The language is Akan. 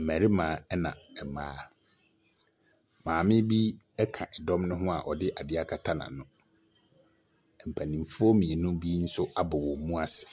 Mmarima na mmaa. Maame bi ka dɔm no ho a ɔde ade akata n'ano. Mpanimfo mmienu bi nso abɔ wɔn mu ase.